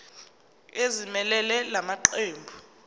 ezimelele la maqembu